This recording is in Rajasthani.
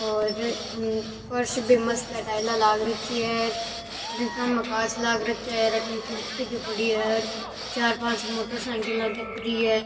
और फर्स भी मस्त है टाइला लाग रखी है अठीन सामने कांच लाग रखया है और अठीन कुर्सी भी पड़ी है और चार पांच मोटर सायकिला दिख री है।